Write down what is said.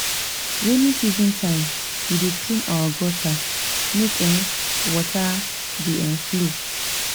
Rainy season time, we dey clean our gutter make um water dey um flow.